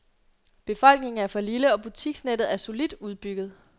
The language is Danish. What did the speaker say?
Befolkningen er for lille, og butiksnettet er solidt udbygget.